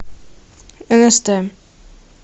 нст